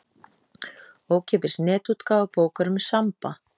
Ókeypis netútgáfa bókar um Samba.